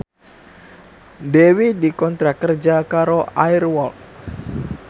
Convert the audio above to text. Dewi dikontrak kerja karo Air Walk